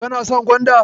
Kana son gwanda?